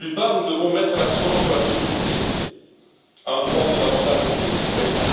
Nous devons mettre l'accent sur la sécurité, un droit fondamental pour tous les citoyens.